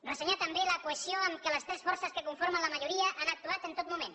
ressenyar també la cohesió amb què les tres forces que conformen la majoria han actuat en tot moment